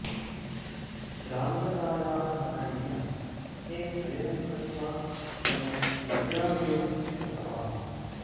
श्रान्ततायाः कारणेन तथैव शयनं कृत्वा सम्यक् निद्रामेव कृतवान्